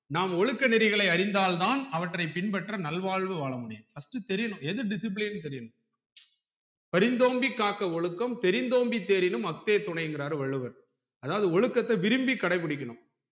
நாம் ஒழுக்க நெறிகளை அறிந்தால் தான் அவற்றை பின்பற்ற நல்வாழ்வு வாழ முடியும் first தெரியனும் எது discipline னு தெரியனும் பரிந்தோம்பி காக்க ஒழுக்கம் தெரிந்தோம்பி தேரினும் அக்தேதுணை என்கிறார் வள்ளுவர் அதாவது ஒழுக்கத்தை விரும்பி கடைபிடிக்கணும்